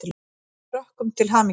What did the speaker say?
Ég vil óska Frökkum til hamingju.